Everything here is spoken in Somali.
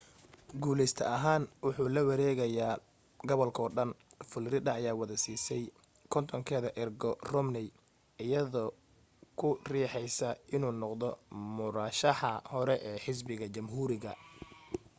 guuleyste ahaan wuxuu lawareegaayaa gobalkoo dhan florida ayaa wada siisay kontonkeeda ergo romney iyadoo ku riixaysa inuu noqdo murashaxa hore ee xisbiga jamhuuriga